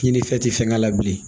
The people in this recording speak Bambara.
Kini fɛn tɛ fɛn kɛ la bilen